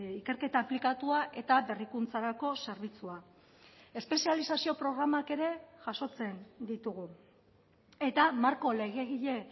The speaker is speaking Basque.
ikerketa aplikatua eta berrikuntzarako zerbitzua espezializazio programak ere jasotzen ditugu eta marko legegile